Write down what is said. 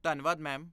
ਧੰਨਵਾਦ, ਮੈਮ।